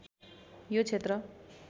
यो क्षेत्र